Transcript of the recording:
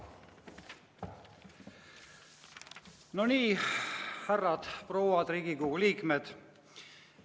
No nii, härrad-prouad Riigikogu liikmed!